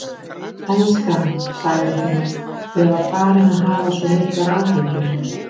Elskan, sagði hún, ég var farin að hafa svo miklar áhyggjur.